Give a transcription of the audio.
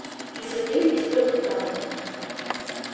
и состоит из трёх этапов